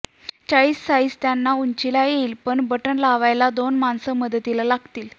चाळीस साईझ त्यांना उंचीला येईल पण बटणं लावायला दोन माणसं मदतीला लागतील